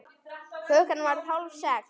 Klukkan varð hálf sex.